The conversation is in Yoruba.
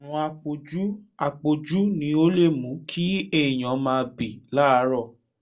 àrùn àpọ̀jù àpọ̀jù ni ó lè mú kí èèyàn máa bì láàárọ̀